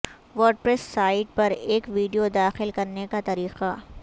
WordPress site پر ایک video داخل کرنے کا طریقہ